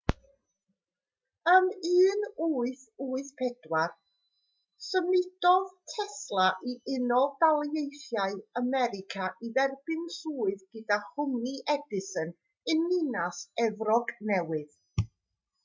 ym 1884 symudodd tesla i unol daleithiau america i dderbyn swydd gyda chwmni edison yn ninas efrog newydd